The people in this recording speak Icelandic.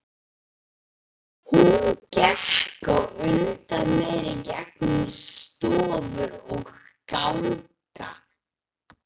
Hún gekk á undan mér í gegnum stofur og ganga.